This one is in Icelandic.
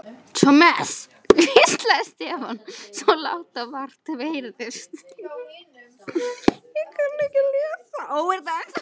Thomas hvíslaði Stefán, svo lágt að vart heyrðist.